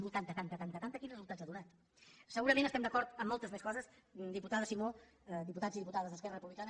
ta tanta tanta quins resultats ha donat segurament estem d’acord en moltes més coses diputada simó diputats i diputades d’esquerra republicana